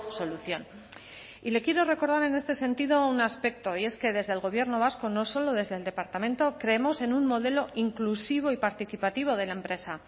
solución y le quiero recordar en este sentido un aspecto y es que desde el gobierno vasco no solo desde el departamento creemos en un modelo inclusivo y participativo de la empresa